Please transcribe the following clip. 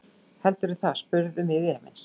Heldurðu það, spurðum við efins.